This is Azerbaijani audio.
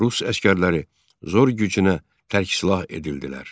Rus əsgərləri zor gücünə tərksilah edildilər.